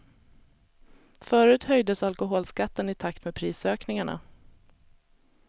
Förut höjdes alkoholskatten i takt med prisökningarna.